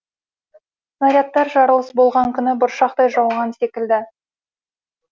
снарядтар жарылыс болған күні бұршақтай жауған секілді